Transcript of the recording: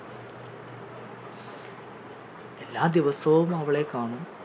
എല്ലാദിവസവും അവളെ കാണും